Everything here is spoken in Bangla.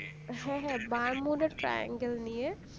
হ্যাঁ হ্যাঁ bermuda triangle নিয়ে